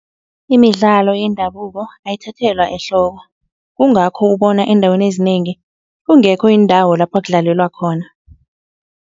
Imidlalo yendabuko ayithathelwa ehloko. Kungakho ubona eendaweni ezinengi kungekho iindawo lapha kudlalelwa khona.